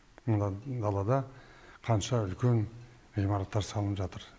мында далада қанша үлкен ғимараттар салынып жатыр